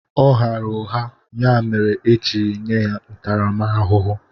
Ọ ghara ụgha ya mere eji nye ya ntaramahụhụ.